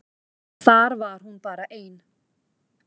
Þar var hún bara ein.